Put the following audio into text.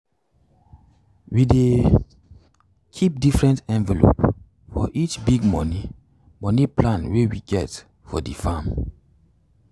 we dey keep different envelope for each big money money plan wey we get for the farm.